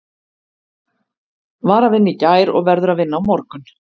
Var að vinna í gær og verður að vinna á morgun.